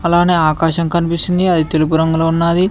అలానే ఆకాశం కనిపిస్తుంది అది తెలుపు రంగులో ఉన్నది.